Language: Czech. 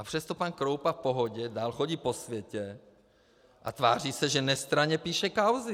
A přesto pan Kroupa v pohodě dál chodí po světě a tváří se, že nestranně píše kauzy.